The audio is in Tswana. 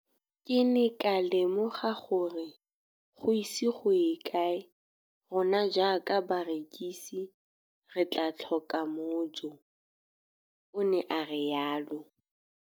Ke ne ka lemoga gore go ise go ye kae rona jaaka barekise re tla tlhoka mojo, o ne a re jalo.